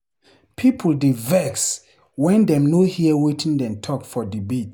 People dey vex when dem no hear wetin dem talk for debates.